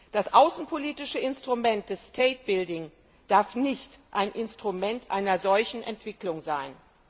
Das außenpolitische Instrument der Staatsbildung darf nicht ein Instrument einer solchen Entwicklung sein.